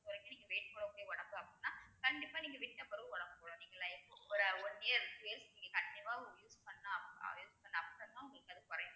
குறைக்க நீங்க weight போடக்கூடிய உடம்பு அப்படின்னா கண்டிப்பா நீங்க விட்டபிறவு உடம்பு போடும் நீங்க life ஒரு one year கண்டிப்பா நீங்க use பண்ண அப்~ use பண்ண அப்பறோம் தான் உங்களுக்கு அது குறையும்